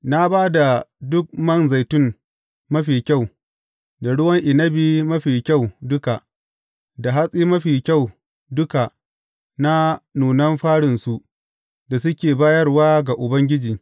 Na ba ka duk man zaitun mafi kyau, da ruwan inabi mafi kyau duka, da hatsi mafi kyau duka na nunan farinsu da suke bayarwa ga Ubangiji.